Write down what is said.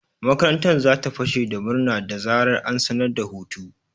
Makarantar za ta fashe da murna da zarar an sanar da hutu.